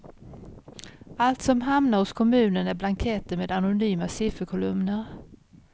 Allt som hamnar hos kommunen är blanketter med anonyma sifferkolumner.